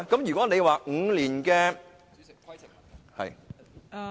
如果你說 ，5 年......